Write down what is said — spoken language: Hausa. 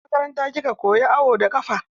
A makaranta kika koya awo da ƙafa?